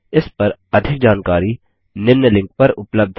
इस पर अधिक जानकारी निम्न लिंक पर उपलब्ध है